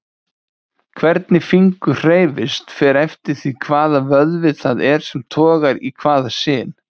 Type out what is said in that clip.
Hvernig fingur hreyfist fer eftir því hvaða vöðvi það er sem togar í hvaða sin.